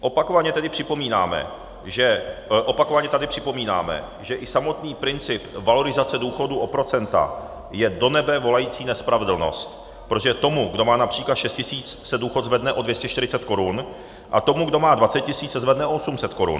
Opakovaně tedy připomínáme, že i samotný princip valorizace důchodů o procenta je do nebe volající nespravedlnost, protože tomu, kdo má například 6 tisíc, se důchod zvedne o 240 korun, a tomu, kdo má 20 tisíc, se zvedne o 800 korun.